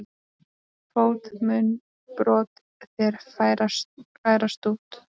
Fót mun brot þér færa sút.